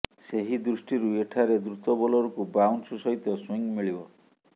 ସେହି ଦୃଷ୍ଟିରୁ ଏଠାରେ ଦ୍ରୁତ ବୋଲରଙ୍କୁ ବାଉନ୍ସ ସହିତ ସୁଇଙ୍ଗ ମିଳିବ